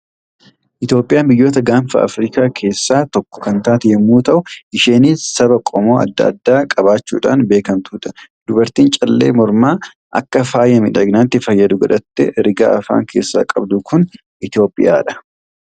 Itoophiyaan biyyoota gaanfa Afrikaa keessaa tokko kan taate yommuu ta'u, isheenis saba qomoo adda addaa qabaachuudhaan beekamtudha. Dubartiin callee mormaa akka faaya miidhaginaatti fayyadu godhattee, rigaa afaan keessaa qabdu kun Itoophiyaadha.